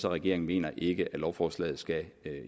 regeringen mener ikke at lovforslaget skal